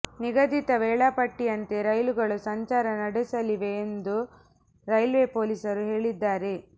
ನಿಗದಿತ ವೇಳಾಪಟ್ಟಿಯಂತೆ ರೈಲುಗಳು ಸಂಚಾರ ನಡೆಸಲಿವೆ ಎಂದು ರೈಲ್ವೆ ಪೊಲೀಸರು ಹೇಳಿದ್ದಾರೆ